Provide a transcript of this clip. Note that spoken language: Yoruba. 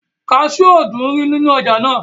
kasú ò dúnrí ní ọjà náà